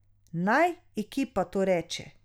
Naj ekipa to reče.